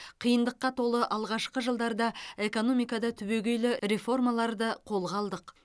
қиындыққа толы алғашқы жылдарда экономикада түбегейлі реформаларды қолға алдық